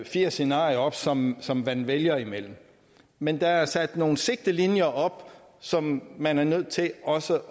fire scenarier op som som man vælger imellem men der er sat nogle sigtelinjer op som man er nødt til også